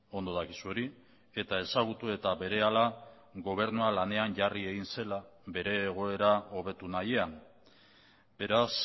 ondo dakizu hori eta ezagutu eta berehala gobernua lanean jarri egin zela bere egoera hobetu nahian beraz